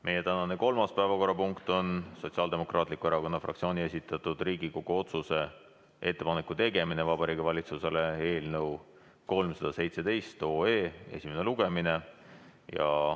Meie tänane kolmas päevakorrapunkt on Sotsiaaldemokraatliku Erakonna fraktsiooni esitatud Riigikogu otsuse "Ettepaneku tegemine Vabariigi Valitsusele" eelnõu 317 esimene lugemine.